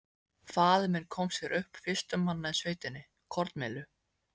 Faðir minn kom sér upp, fyrstur manna í sveitinni, kornmyllu.